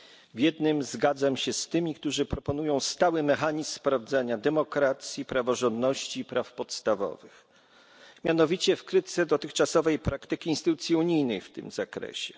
W jednym zgadzam się z tymi, którzy proponują stały mechanizm sprawdzania demokracji praworządności i praw podstawowych, mianowicie w krytyce dotychczasowej praktyki instytucji unijnych w tym zakresie.